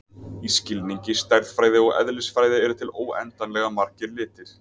Í skilningi stærðfræði og eðlisfræði eru til óendanlega margir litir.